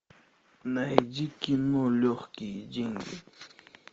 найди кино легкие деньги